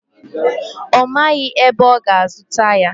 Ọ maghị ebe ọ ga-azụta ya.